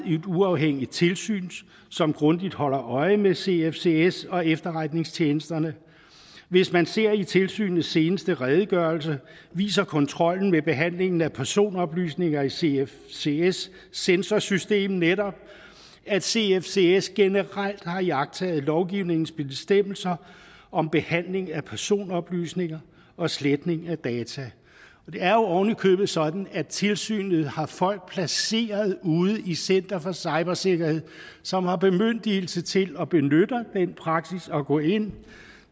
uafhængigt tilsyn som grundigt holder øje med cfcs og efterretningstjenesterne og hvis man ser i tilsynets seneste redegørelse viser kontrollen ved behandlingen af personoplysninger i cfcs sensorsystem netop at cfcs generelt har iagttaget lovgivningens bestemmelser om behandling af personoplysninger og sletning af data det er jo oven i købet sådan at tilsynet har folk placeret ude i center for cybersikkerhed som har bemyndigelse til at benytte den praksis at gå ind